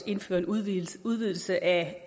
indfører en udvidelse udvidelse af